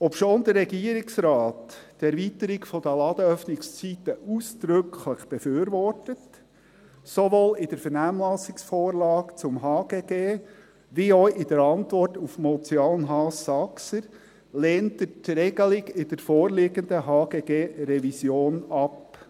Obschon der Regierungsrat die Erweiterung der Ladenöffnungszeiten ausdrücklich befürwortet – sowohl in der Vernehmlassungsvorlage zum HGG als auch in seiner Antwort auf die Motion Haas Saxer , lehnt er die Regelung in der vorliegenden HGG-Revision ab.